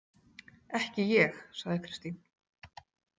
Ekki ég, sagði Kristín.